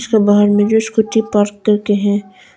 बाहर मे जो स्कूटी पार्क करके हैं।